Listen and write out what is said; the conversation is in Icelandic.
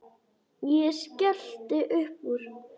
Ég skellti upp úr.